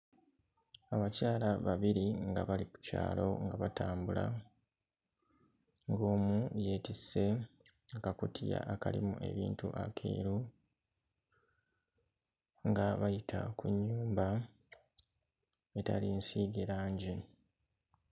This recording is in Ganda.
Abakyala babiri nga bali ku kyalo nga batambula, ng'omu yeetisse akakutiya akalimu ebintu akeeru nga bayita ku nnyumba etali nsiige langi.